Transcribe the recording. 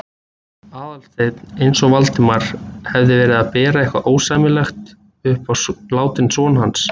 Aðalsteinn eins og Valdimar hefði verið að bera eitthvað ósæmilegt upp á látinn son hans.